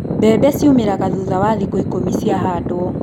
Mbembe ciumĩraga thutha wa thikũ ikũmi ciahandwo.